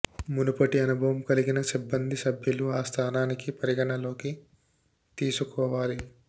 మునుపటి అనుభవం కలిగిన సిబ్బంది సభ్యులు ఆ స్థానానికి పరిగణనలోకి తీసుకోవాలి